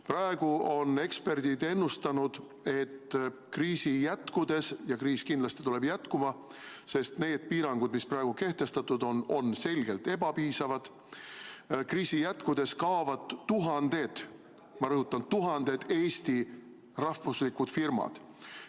Praegu on eksperdid ennustanud, et kriisi jätkudes – ja kriis kindlasti jätkub, sest need piirangud, mis praegu kehtestatud on, on selgelt ebapiisavad – kaovad tuhanded, ma rõhutan, tuhanded Eesti rahvuslikud firmad.